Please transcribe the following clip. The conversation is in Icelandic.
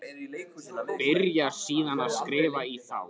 Byrjar síðan að skrifa í þá.